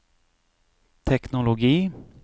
teknologi